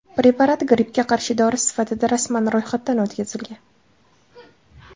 Preparat grippga qarshi dori sifatida rasman ro‘yxatdan o‘tkazilgan.